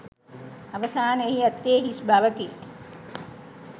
අවසාන එහි ඇත්තේ හිස් බවකි.